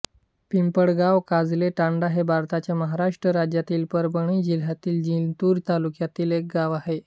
पिंपळगाव काजले तांडा हे भारताच्या महाराष्ट्र राज्यातील परभणी जिल्ह्यातील जिंतूर तालुक्यातील एक गाव आहे